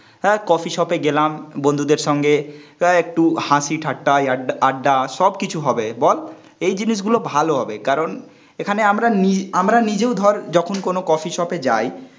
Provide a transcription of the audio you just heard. হ্যাঁ, coffee shop এ গেলাম, বন্ধুদের সঙ্গে. তা একটু হাসি ঠাট্টা, আড্ডা, আড্ডা, সবকিছু হবে. বল এই জিনিস গুলো ভালো হবে কারণ এখানে আমরা নি আমরা নিজেও ধর যখন কোনো কফি শপ এ যাই